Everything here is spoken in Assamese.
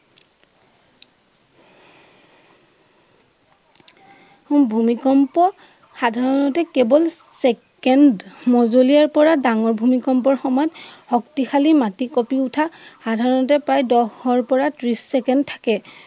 হম ভূমিকম্প সাধাৰণতে কেৱল চেকেণ্ড পৰা ডাঙৰ ভূমিকম্পৰ সময়ত শক্তিশালী মাটি কঁপি উঠা সাধাৰণতে প্ৰায় দহৰ পৰা ত্ৰীশ চেকেণ্ড থাকে।